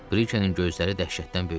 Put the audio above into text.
Brikenin gözləri dəhşətdən böyüdü.